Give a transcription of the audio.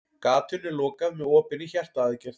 Gatinu er lokað með opinni hjartaaðgerð.